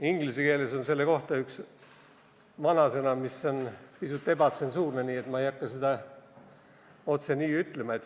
Inglise keeles on selle kohta üks vanasõna, mis on pisut ebatsensuurne, nii et ma ei hakka seda otse ütlema.